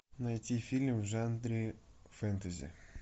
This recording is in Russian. найти фильм в жанре фэнтези